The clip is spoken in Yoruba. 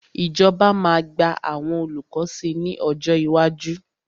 Ìjọba máa gba àwọn olùkọ́ sí ní ọjọ́ iwájú.